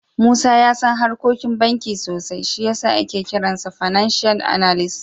Musa ya san harkokin banki sosai, shi ya sa ake kiransa fananshiyal analis.